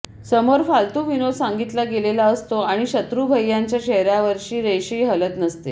समोर फालतू विनोद सांगितला गेलेला असतो आणि शत्रूभय्यांच्या चेहर्यावरची रेषही हलत नसते